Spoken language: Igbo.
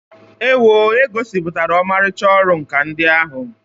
Ewoo! E gosipụtara ọmarịcha ọrụ nkà ndị ahụ.